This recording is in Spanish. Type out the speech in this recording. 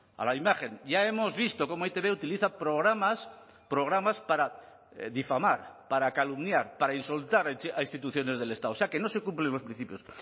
a la imagen ya hemos visto cómo e i te be utiliza programas programas para difamar para calumniar para insultar a instituciones del estado o sea que no se cumplen los principios